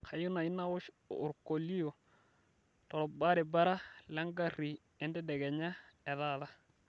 kayieu naaji naosh orkoleo torbaribara lengari entedekenya etaata